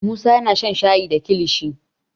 musa yana shan shayi da kilishi